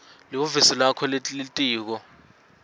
lihhovisi lakho lelitiko